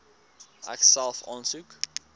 ek self aansoek